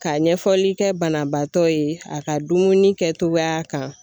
Ka ɲɛfɔli kɛ banabaatɔ ye a ka dumuni kɛtogoya kan